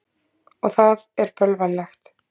Og það er bölvanlegt.